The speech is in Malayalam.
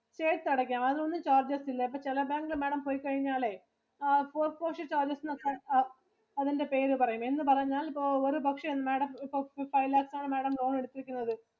ചേർത്ത് അടയ്ക്കാം അത് ഒന്നും charge ആവത്തില്ല. അപ്പൊ ചില ബാങ്ക് ഇല് Madam പോയി കഴിഞ്ഞാലേ ആ postponeship charges എന്നൊക്കെ അതിന്റെ പേര് പറയും. എന്ന് പറഞ്ഞാൽ ഇപ്പൊ ഒരു പക്ഷെ Madam ത്തിനു five lakhs ആണ് Madam loan എടുത്തിരിക്കുന്നത്.